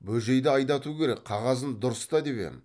бөжейді айдату керек қағазын дұрыста деп ем